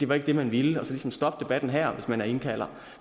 var det man ville og så ligesom stoppe debatten her hvis man er indkalder